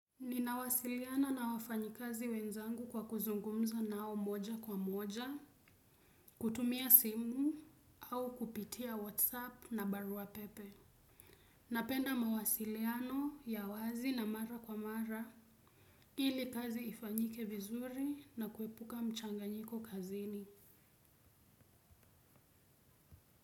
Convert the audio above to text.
Ninawasiliana na wafanyi kazi wenzangu kwa kuzungumza nao moja kwa moja, kutumia simu, au kupitia whatsapp na baruapepe. Napenda mawasiliano ya wazi na mara kwa mara, ili kazi ifanyike vizuri na kuepuka mchanganyiko kazini.